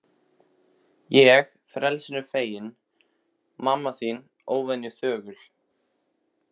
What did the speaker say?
Ég frelsinu feginn, mamma þín óvenju þögul.